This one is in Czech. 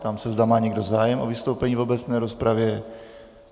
Ptám se, zda má někdo zájem o vystoupení v obecné rozpravě.